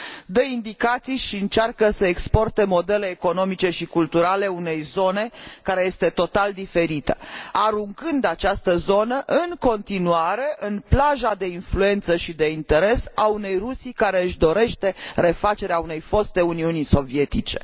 Dă indicații și încearcă să exporte modele economice și culturale unei zone care este total diferită, aruncând această zonă, în continuare, în plaja de influență și de interes a unei Rusii care își dorește refacerea unei foste Uniuni Sovietice.